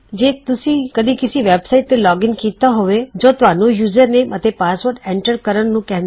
ਜੇ ਤੁਸੀਂ ਕਦੀ ਕਿਸੀ ਵੈਬਸਾਇਟ ਤੇ ਲੋਗਿਨ ਕਿੱਤਾ ਹੋਵੇ ਜੋ ਤੁਹਾਨੂੰ ਯੁਜ਼ਰਨੇਮ ਅਤੇ ਪਾਸਵਰਡ ਐਨਟਰ ਕਰਨ ਨੂੰ ਕਹੰਦਾ